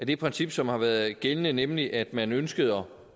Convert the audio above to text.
det princip som har været gældende nemlig at man ønskede at